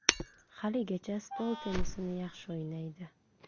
Haligacha stol tennisini yaxshi o‘ynaydi.